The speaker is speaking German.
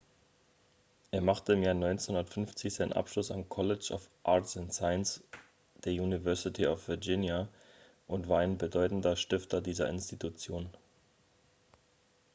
er machte im jahr 1950 seinen abschluss am college of arts & sciences der university of virginia und war ein bedeutender stifter dieser institution